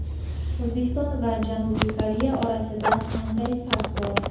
O‘zbekiston va Janubiy Koreya orasida qanday farq bor?